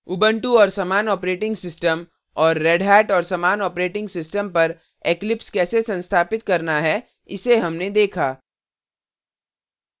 Ubuntu और समान operating systems और redhat और समान operating systems पर eclipse कैसे संस्थापित करना है इसे हमने देखा